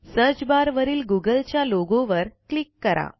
search barवरील गुगलच्या लोगोवर क्लिक करा